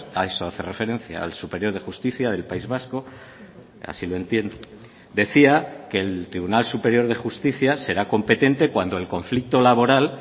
a eso hace referencia al superior de justicia del país vasco así lo entiendo decía que el tribunal superior de justicia será competente cuando el conflicto laboral